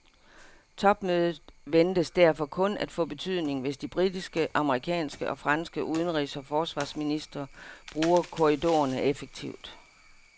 Topmødet ventes derfor kun at få betydning, hvis de britiske, amerikanske og franske udenrigs og forsvarsministre bruger korridorerne effektivt.